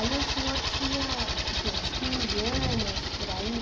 Aí o senhor tinha, o quê, uns quinze anos, por aí